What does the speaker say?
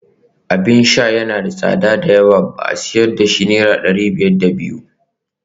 Abin sha yana da tsada da yawa ba a sayar da shi akan naira dari biyar da biyu